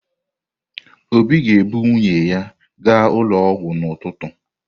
Obi ga-ebu nwunye ya gaa ụlọ ọgwụ n’ụtụtụ.